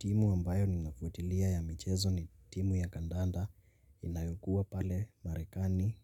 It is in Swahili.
Timu ambayo ninafuatilia ya michezo ni timu ya kandanda inayokua pale Marekani